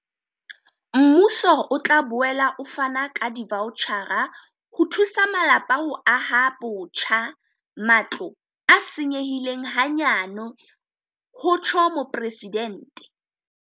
Mmuso o tla boela o fana ka divaotjhara ho thusa malapa ho aha botjha matlo a senyehileng hanyane, ho rialo Mopresidente.